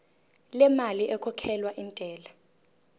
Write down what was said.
lemali ekhokhelwa intela